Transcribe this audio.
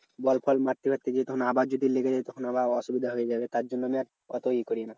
বল ফল মারতে ফারতে যেতাম আবার যদি লেগে যেত তখন আবার অসুবিধা হয়ে যাবে তার জন্য আমি আর অত ই করি না।